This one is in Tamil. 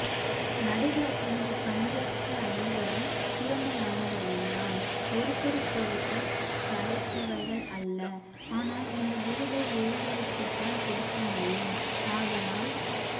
நடுவர் இங்கு பங்கேற்ற அனைவரும் திறமையாணவர்கள்தான் ஒருத்தருக்கொருத்தர் சலைத்தவர்கள் அல்ல ஆனால் இந்த விருதை ஒருவருக்குதான் கொடுக்க முடியும் ஆதாலால்